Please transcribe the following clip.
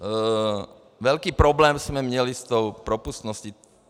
Velký problém jsme měli s tou propustností.